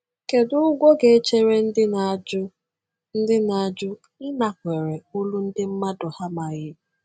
Kedu ụgwọ ga-echere ndị na-ajụ ndị na-ajụ ịnakwere olu ndị mmadụ ha amaghị?